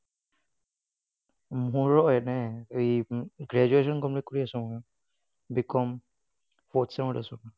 মোৰো এনেই এই graduation complete কৰি আছো ময়ো। BCom fourth sem ত আছোঁ।